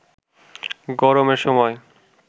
গরমের সময়